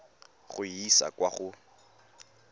go e isa kwa go